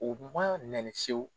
U ma nɛni fiyewu .